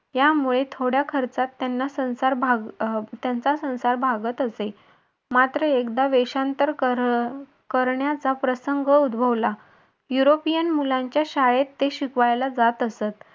यामुळे थोड्या खर्चात त्याना संसार त्यांचा संसार भागत असे मात्र एकदा वेषांतर करण्याचा प्रसंग उद्भवला युरोपिअन मुलांच्या शाळेत ते शिकवायला जात असतं.